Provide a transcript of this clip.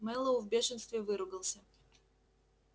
мэллоу в бешенстве выругался